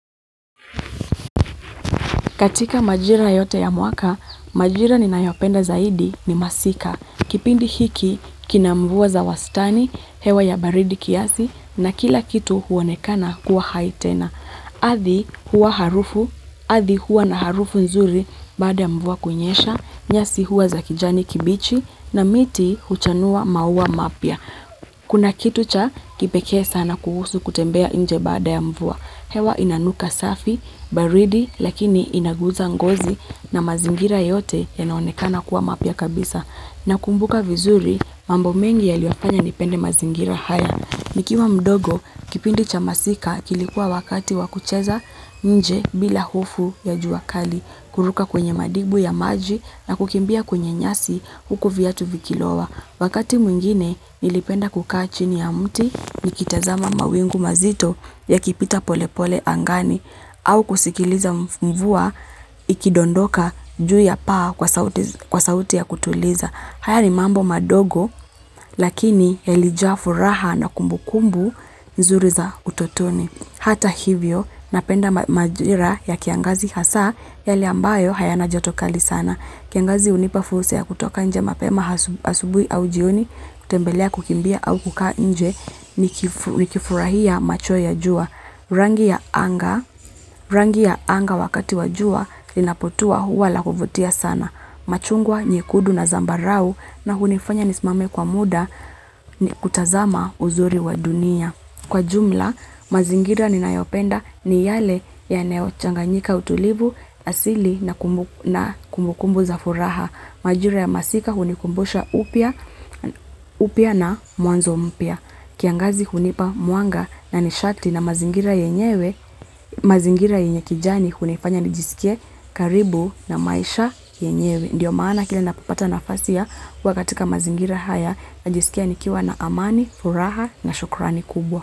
Katika majira yote ya mwaka, majira ninayopenda zaidi ni masika. Kipindi hiki, kina mvua za wastani, hewa ya baridi kiasi, na kila kitu huonekana kuwa hai tena. Adhi huwa harufu, adhi huwa na harufu nzuri baada ya mvua kunyesha, nyasi huwa za kijani kibichi, na miti huchanua maua mapya. Kuna kitu cha kipekee sana kuhusu kutembea nje baada ya mvua. Hewa inanuka safi, baridi, lakini inaguza ngozi na mazingira yote yanaonekana kuwa mapya kabisa. Na kumbuka vizuri, mambo mengi yaliyofanya nipende mazingira haya. Nikiwa mdogo, kipindi cha masika kilikuwa wakati wakucheza nje bila hufu ya juakali, kuruka kwenye madibu ya maji na kukimbia kwenye nyasi huku viatu vikilowa. Wakati mwingine nilipenda kukaa chini ya mti nikitazama mawingu mazito ya kipita pole pole angani au kusikiliza mvua ikidondoka juu ya paa kwa sauti ya kutuliza. Haya ni mambo madogo lakini yalijaa furaha na kumbukumbu nzuri za utotoni. Hata hivyo napenda majira ya kiangazi hasaa yale ambayo hayana joto kali sana. Kiangazi hunipa fulsa ya kutoka nje mapema asubui au jioni, kutembelea kukimbia au kukaa nje, nikifurahia macho ya jua. Rangi ya anga, rangi ya anga wakati wa jua, linapotua huwa lakuvutia sana. Machungwa, nyekudu na zambarau na hunifanya nisimame kwa muda ni kutazama uzuri wa dunia. Kwa jumla, mazingira ni nayopenda ni yale yanayo changanyika utulivu, asili na kumbukumbu za furaha. Majira ya masika hunikumbusha upya na mwanzo mpya. Kiangazi hunipa mwanga na nishati na mazingira yenyewe, mazingira yenye kijani hunifanya nijisikie karibu na maisha yenyewe. Ndiyo maana kila napopata nafasi ya kuwa katika mazingira haya najisikia nikiwa na amani, furaha na shukurani kubwa.